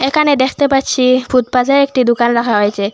এখানে দেখতে পাচ্ছি ফুটপাতে একটি দোকান রাখা হয়েছে।